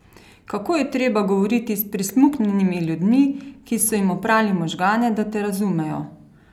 Kako je treba govoriti s prismuknjenimi ljudmi, ki so jim oprali možgane, da te razumejo?